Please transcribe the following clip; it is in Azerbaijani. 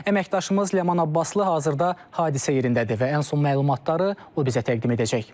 Əməkdaşımız Ləman Abbaslı hazırda hadisə yerindədir və ən son məlumatları o bizə təqdim edəcək.